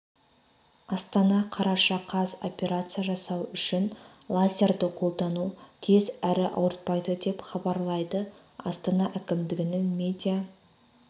астана қараша қаз операция жасау үшін лазерді қолдану тез әрі ауыртпайды деп хабарлайды астана әкімдігінің медиа